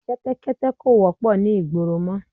Kẹ́tẹ́kẹ́tẹ́ kò wọ́pọ̀ ni ìgboro mọ